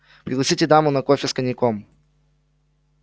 пригласите даму на кофе с коньяком